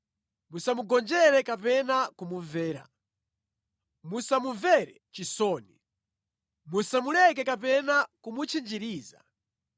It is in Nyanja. musamugonjere kapena kumumvera. Musamumvere chisoni. Musamuleke kapena kumutchinjiriza.